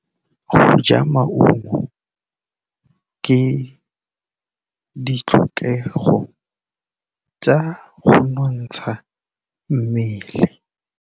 Go ja maungo ke ditlhokegô tsa go nontsha mmele.